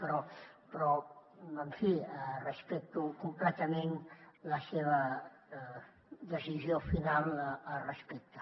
però en fi respecto completament la seva decisió final al respecte